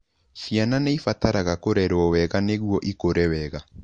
Ciana nĩ ibataraga kũrerwo wega nĩguo ikũre wega.